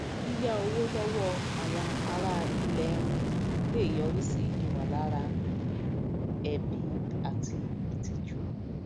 yíyà owó lọwọ àwọn ará ilẹ ẹni lè yọrí sí ìmọlára ẹbi àti ìtìjú